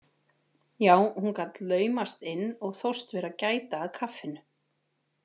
Já, hún gat laumast inn og þóst vera að gæta að kaffinu.